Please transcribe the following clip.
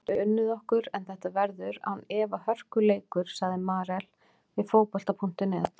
Þeir hafa ekki unnið okkur en þetta verður án efa hörkuleikur, sagði Marel við Fótbolta.net.